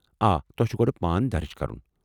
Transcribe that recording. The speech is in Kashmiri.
آ، تۄہہ چُھ گۄڑٕ پان درٕج کرُن